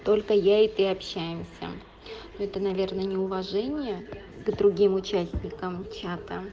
только я и ты общаемся ну это наверное неуважение к другим участникам чата